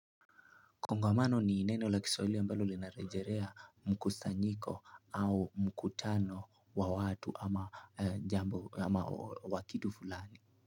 Kongamano ni neno la kisawili ambalo linarejerea mkusanyiko au mkutano wa watu ama jambo ama wakidu fulani.